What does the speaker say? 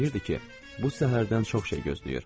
Pıçıltıyırdı ki, bu səhərdən çox şey gözləyir.